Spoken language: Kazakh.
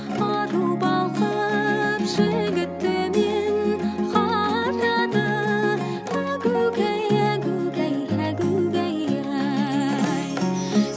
ару балқып жігіт төмен қарады әгугай әгугай әгугай ай